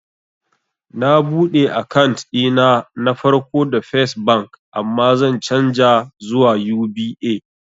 Na buɗe akant ɗina na farko da fes bank amma zan canja zuwa UBA